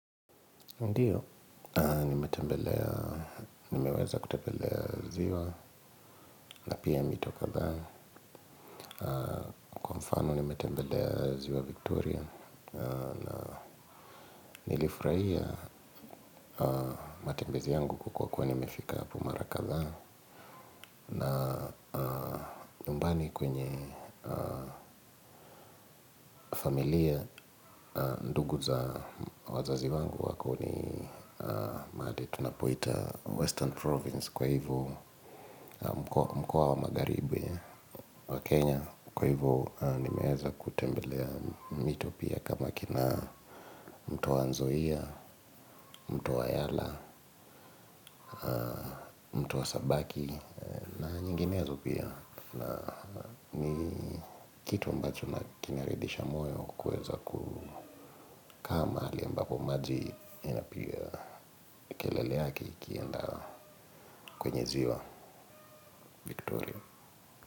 Ndiyo, nimetembelea, nimeweza kutembelea ziwa, na pia mito kadhaa, kwa mfano nimetembelea ziwa Victoria, na nilifurahia matembezi yangu kwa kuwa nimefika hapo mara kadha, na nyumbani kwenye familia, ndugu za wazazi wangu wako ni mahali tunapoita Western Province kwa hivo mkoa wa magharibi. Wa Kenya, kwa hivyo nimeweza kutembelea mito pia kama kina mto wa Nzoia, mto wa Yala, mto wa Sabaki na nyinginezo pia. Na ni kitu ambacho na kina ridhisha moyo kuweza kukaa mahali ambapo maji inapiga kelele yake ikienda kwenye ziwa.